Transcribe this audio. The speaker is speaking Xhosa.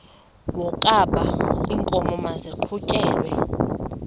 wokaba iinkomo maziqhutyelwe